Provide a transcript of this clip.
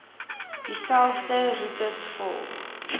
dieselfde roetes volg